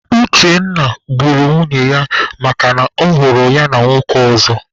Uchenna gburu nwunye ya makana ọ hụrụ ya na nwoke ọzọ.